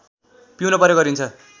पिउन प्रयोग गरिन्छ